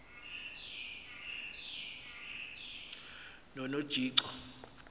nonojico